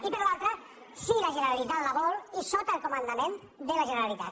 i per l’altra si la generalitat la vol i sota el comandament de la generalitat